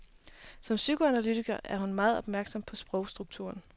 Som psykoanalytiker er hun meget opmærksom på sprogstrukturen.